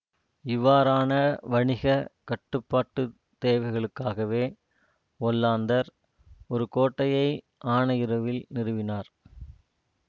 இவ்வாறான வணிக கட்டுப்பாட்டுத் தேவைகளுக்காகவே ஒல்லாந்தர் ஒரு கோட்டையை ஆனையிறவில் நிறுவினார்